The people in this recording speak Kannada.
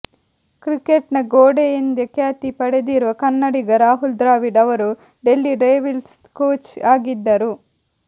ಕ್ರಿಕೆಟ್ನ ಗೋಡೆ ಎಂದೇ ಖ್ಯಾತಿ ಪಡೆದಿರುವ ಕನ್ನಡಿಗ ರಾಹುಲ್ ದ್ರಾವಿಡ್ ಅವರು ಡೆಲ್ಲಿ ಡೇರ್ಡೆವಿಲ್ಸ್ ಕೋಚ್ ಆಗಿದ್ದರು